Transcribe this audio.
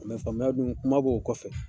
faamuya dun, kuma b'o kɔfɛ.